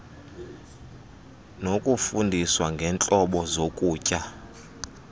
nokufundiswa ngeentlobo zokutya